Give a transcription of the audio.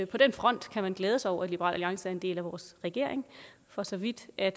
på den front kan man glæde sig over at liberal alliance er en del af vores regering for så vidt at